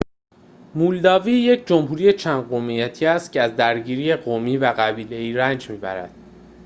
مولداوی یک جمهوری چند قومیتی است که از درگیری قومی و قبیله‌ای رنج می‌برد